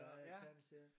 Ja tegneserier